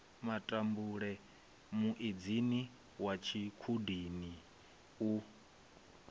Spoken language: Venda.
matambule muedzini wa tshikhudini u